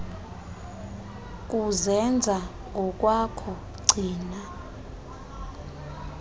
kuzenza ngokwakho gcina